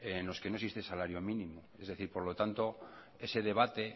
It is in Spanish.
en los que no existe el salario mínimo es decir por lo tanto ese debate